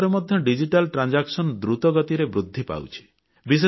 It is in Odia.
ଭାରତରେ ମଧ୍ୟ ଡିଜିଟାଲ କାରବାର ବା ନେଣଦେଣ ଦ୍ରୁତ ଗତିରେ ବୃଦ୍ଧି ପାଉଛି